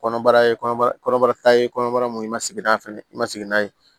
Kɔnɔbara ye kɔnɔbara kɔnɔbara ta ye kɔnɔbara mun i ma sigi n'a fɛnɛ ye i ma sigi n'a ye